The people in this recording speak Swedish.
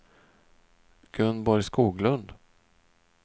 Gunborg Skoglund